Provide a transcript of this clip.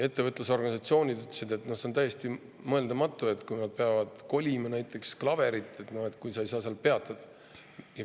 Ettevõtlusorganisatsioonid ütlesid, et see on täiesti mõeldamatu, et kui nad peavad kolima näiteks klaverit, aga ei saa seal peatuda.